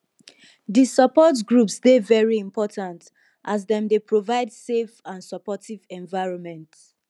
di support groups dey very important as dem dey provide safe and supportive environment